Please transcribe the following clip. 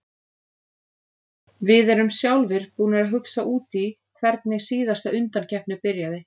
Við erum sjálfir búnir að hugsa út í hvernig síðasta undankeppni byrjaði.